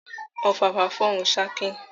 Ọ̀fàfà fọhùn ṣakin